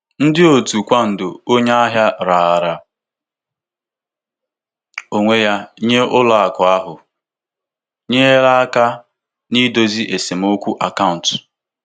Ihe ọkachamara onye Ihe ọkachamara onye ndụmọdụ ego bara nnukwu uru n'ịdozi okwu ntinye ego na-agbagwoju anya.